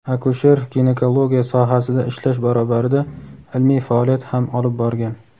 akusher-ginekologiya sohasida ishlash barobarida ilmiy faoliyat ham olib borgan.